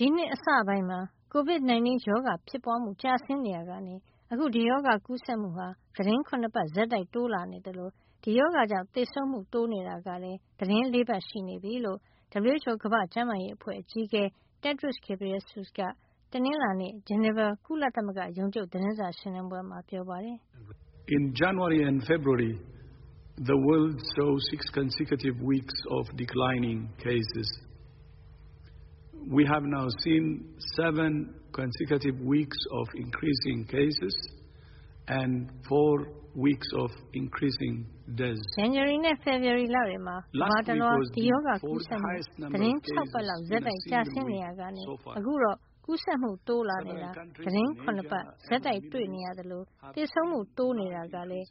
ဒီနှစ်အစပိုင်းမှာ COVID 19 ရောဂါဖြစ်ပွါးမှု ကျဆင်းနေရာကနေ အခုဒီရောဂါကူးစက်မှု သီတင်း ၇ ပတ် ဆက်တိုက်တိုးလာနေသလို ဒီရောဂါကြောင့် သေဆုံးမှုတိုးနေတာကလည်း သီတင်းပတ် ၄ ပတ်ရှိနေပြီလို့ WHO ကမ္ဘာ့ကျန်းမာရေးအဖွဲ့အကြီးအကဲ Tedros Adhanom Ghebreyesus က တနင်္လာနေ့ ဂျနီဗာကုလသမဂ္ဂ ရုံးချုပ် သတင်းစာရှင်းလင်းပွဲမှာ ပြောပါတယ်။ "ဇန်နဝါရီနဲ့ ဖေဖေါ်ဝါရီလတွေမှာ ကမ္ဘာတလွှား ဒီရောဂါကူးစက်မှု သီတင်းပတ် ၆ ပတ်လောက် ဆက်တိုက် ကျဆင်းနေရာကနေ အခုတော့ ကူးစက်မှု တိုးလာနေတာ သီတင်း ၇ ပတ် ဆက်တိုက်တွေ့နေရသလို သေဆုံးမှုတိုးနေတာလည်း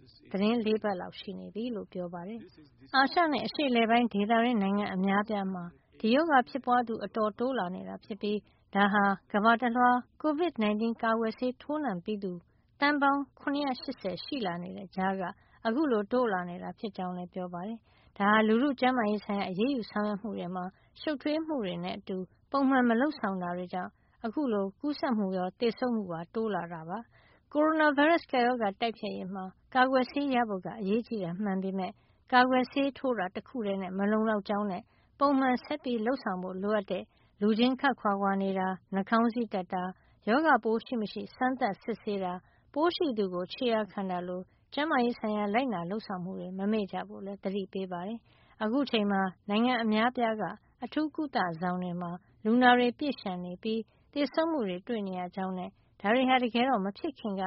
၄ပတ်လောက် ရှိနေပြီလို့ ပြောပါတယ်။ အာရှနဲ့ အရှေ့အလယ်ပိုင်းဒေသတွင်း နိုင်ငံအများအပြားမှာ ဒီရောဂါဖြစ်ပွါးသူ အတော်တိုးလာနေတာ ဖြစ်ပြီး ဒါဟာ ကမ္ဘာတလွှား COVID 19 ကာကွယ်ဆေး ထိုးနှံပြီးသူ သန်းပေါင်း ၇၈၀ ရှိလာနေတဲ့ ကြားကနေ အခုလို တိုးလာနေတာ ဖြစ်ကြောင်းလည်း ပြောပါတယ်။ ဒါဟာ လူထုကျန်းမာရေးဆိုင်ရာ အရေးယူ ဆောင်ရွက်မှုတွေမှာ ရှုပ်ထွေးမှုတွေနဲ့ အတူ ပုံမှန်မလုပ်ဆောင်တာတွေကြောင့် အခုလို ကူးစက်မှုရော သေဆုံးရမှုပါ တိုးလာတာ ဖြစ်ကြောင်းလည်း ပြောပါတယ်။ ကိုရိုနာဗိုင်းရပ်စ် ကပ်ရောဂါတိုက်ဖျက်ရေးမှာ ကာကွယ်ဆေးရဖို့က အရေးကြီးတာမှန်ပေမယ့် ကာကွယ်ဆေးထိုးတာ တခုထည်းနဲ့ မလုံလောက်ကြောင်းနဲ့ ပုံမှန်ဆက်ပြီး လုပ်ဆောင်ဖို့ လိုအပ်တဲ့ လူချင်းခပ်ခွါခွါနေတာ၊ နှာခေါင်းစည်းတပ်တာ၊ ရောဂါပိုးရှိမရှိ စမ်းသပ်စစ်ဆေးတာ၊ ပိုးရှိသူကို ခြေရာခံတာလို ကျန်းမာရေးဆိုင်ရာ လိုက်နာလုပ်ဆောင်မှုတွေကို မမေ့ကြဖို့လည်း သတိပေးပါတယ်။ အခုအချိန်မှာ နိုင်ငံအများအပြားက အထူးကုသဆောင်တွေမှာ လူနာတွေ ပြည့်လျှံနေပြီး သေဆုံးမှုတွေ တွေ့နေရကြောင်းနဲ့ ဒါတွေဟာ တကယ်တော့ မဖြစ်ခင်က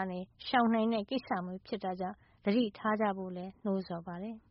ရှောင်နိုင်တဲ့ ကိစ္စမျိုးဖြစ်တာကြောင့် သတိထားကြဖို့လည်း နှိုးဆော်ပါတယ်။